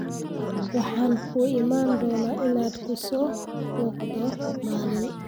Waxaan kuu iman doonaa inaan ku soo booqdo maalin